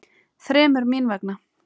Þremur. mín vegna.